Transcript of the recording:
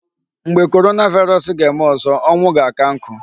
Mgbe coronavirus ga-eme ọzọ, ọnwu ga-aka nkụ.